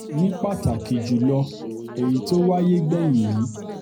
ní pàtàkì jù lọ èyí tó wáyé gbẹ̀yìn yìí